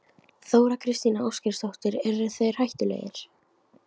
Þóra Kristín Ásgeirsdóttir: Eru þeir hættulegir?